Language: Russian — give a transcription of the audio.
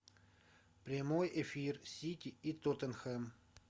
прямой эфир сити и тоттенхэм